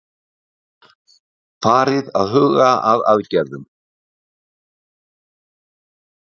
Farið að huga að aðgerðum